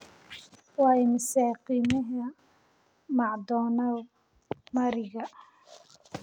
waa imisa qiimaha macdonald mariga